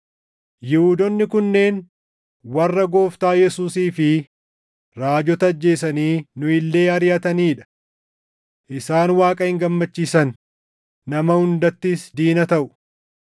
Yihuudoonni kunneen warra Gooftaa Yesuusii fi raajota ajjeesanii nu illee ariʼatanii dha. Isaan Waaqa hin gammachiisan; nama hundattis diina taʼu;